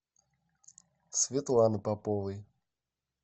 светланы поповой